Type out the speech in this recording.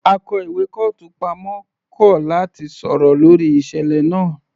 Akó ìwé kọ́ọ̀tù pamọ́ kọ̀ láti sọ̀rọ̀ lórí ìṣẹ̀lẹ̀ náà